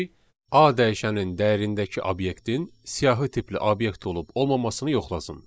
A dəyişənin dəyərindəki obyektin siyahı tipli obyekt olub-olmaması yoxlasın.